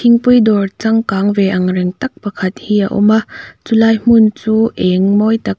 thingpui dawr changkang ve angreng tak pakhat hi a awm a chulai hmun chu eng mawi tak --